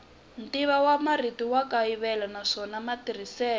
ntivomarito wa kayivela naswona matirhiselo